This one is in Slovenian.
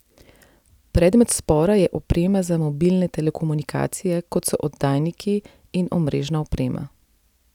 Predmet spora je oprema za mobilne telekomunikacije, kot so oddajniki in omrežna oprema.